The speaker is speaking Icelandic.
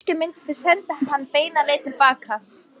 Kannski myndu þau senda hann beina leið til baka.